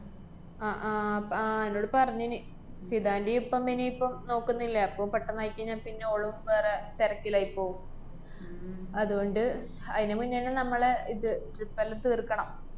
അഹ് ആഹ് പ~ ആഹ് എന്നോട് പറഞ്ഞേന്, ഹിബാന്റെയും ഇപ്പം ഇനിയിപ്പം നോക്കുന്നില്ലേ, അപ്പം പെട്ടെന്നായിക്കയിഞ്ഞാപ്പിന്നെ ഓളും വേറെ തെരക്കിലായിപ്പോവും അതുകൊണ്ട് അയിനുമുന്നെന്നെ നമ്മളെ ഇത് trip എല്ലാം തീര്‍ക്കണം.